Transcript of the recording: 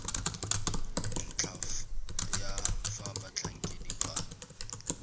ntlha ya fa batlhankedi ba